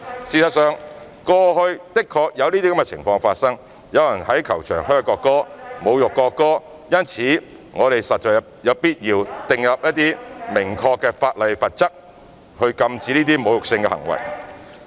事實上，過去的確有這些情況發生，有人在球場噓國歌、侮辱國歌，因此我們實在有必要訂立明確法例和罰則，禁止這些侮辱性行為。